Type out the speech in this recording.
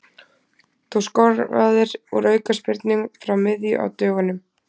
Þú skoraðir úr aukaspyrnu frá miðju á dögunum.